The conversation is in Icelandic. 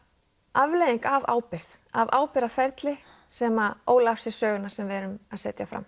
afleiðing af ábyrgð af ábyrgð af ábyrgðaferli sem ól af sér söguna sem við erum að setja fram